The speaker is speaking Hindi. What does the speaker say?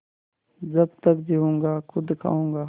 जब तक जीऊँगा खुद खाऊँगा